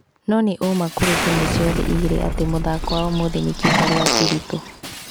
No nĩ ũũma kũrĩ timũ ciothe igĩrĩ atĩ mũthako wa ũmũthĩ nĩ kĩbarũa kĩritũ